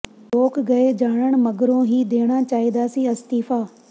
ਲੋਕ ਰਾਏ ਜਾਣਨ ਮਗਰੋਂ ਹੀ ਦੇਣਾ ਚਾਹੀਦਾ ਸੀ ਅਸਤੀਫ਼ਾ